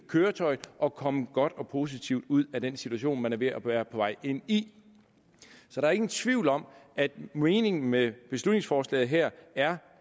køretøjet og komme godt og positivt ud af den situation man er ved at være på vej ind i så der er ingen tvivl om at meningen med beslutningsforslaget her er